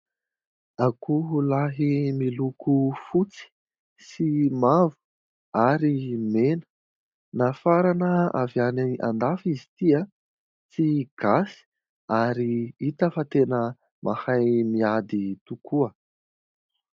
Akoho lahy miloko fotsy sy mavo ary mena nafarana avy any an-dafy izy ity tsy gasy ary hita fa tena mahay miady tokoa.